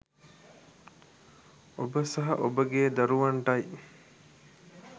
ඔබ සහ ඔබගේ දරුවන්ටයි.